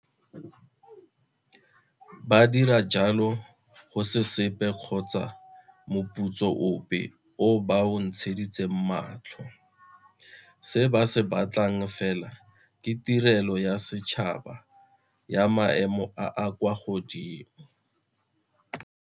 Ba dira jalo go se sepe kgotsa moputso ope o ba o ntsheditseng matlho. Se ba se ba tlang fela ke tirelo ya setšhaba ya maemo a a kwa godimo.